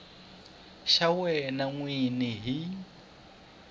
xa wena n wini hi